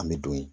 An bɛ don ye